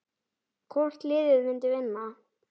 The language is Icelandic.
Hvort liðið myndi vinna?